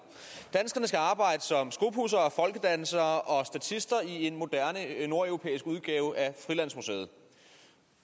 danskerne skal arbejde som skopudsere folkedansere og statister i en moderne nordeuropæisk udgave af frilandsmuseet